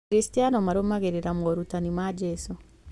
Akristiano marũmagĩrĩra moorutani ma Jesũ.